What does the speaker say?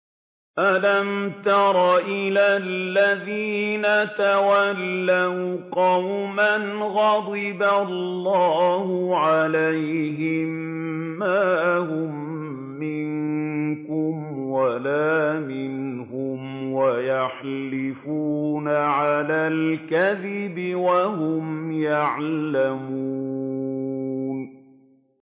۞ أَلَمْ تَرَ إِلَى الَّذِينَ تَوَلَّوْا قَوْمًا غَضِبَ اللَّهُ عَلَيْهِم مَّا هُم مِّنكُمْ وَلَا مِنْهُمْ وَيَحْلِفُونَ عَلَى الْكَذِبِ وَهُمْ يَعْلَمُونَ